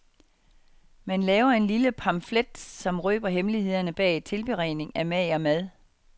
Man laver en lille pamflet, som røber hemmelighederne bag tilberedning af mager mad.